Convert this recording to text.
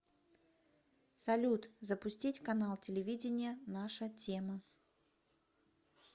салют запустить канал телевидения наша тема